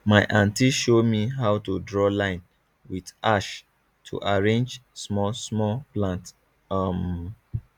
my aunty show me how to draw line with ash to arrange small small plant um